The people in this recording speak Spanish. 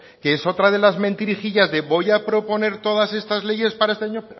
que es otra de las mentirijillas de voy a proponer todas estas leyes para este año